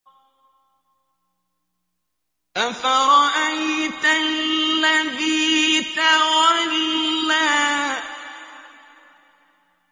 أَفَرَأَيْتَ الَّذِي تَوَلَّىٰ